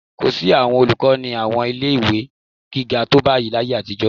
Kò sí àwọn olùkọ́ ní àwọn ilé-ìwé gíga tó báyìí láyé àtijọ́